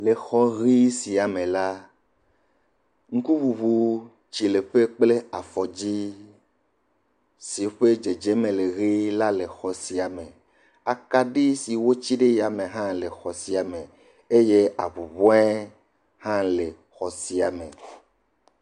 Le xɔ ʋii sia me la ŋkuŋuŋutsileƒe kple afɔdzi si ƒe dzedzeme le ʋee la le xɔ sia me. Akaɖi si wotsi ɖe yame hã le xɔ sia me eye ahũhɔ̃e ha le xɔ sia me.